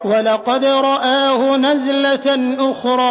وَلَقَدْ رَآهُ نَزْلَةً أُخْرَىٰ